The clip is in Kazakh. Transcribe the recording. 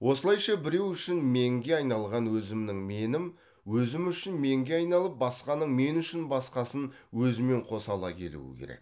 осылайша біреу үшін менге айналған өзімнің менім өзім үшін менге айналып басқаның мен үшін басқасын өзімен қоса ала келуі керек